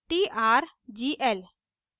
trgl